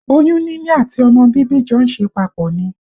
Oyún níní àti ọmọ bíbí jọ ń ṣe papọ̀ ni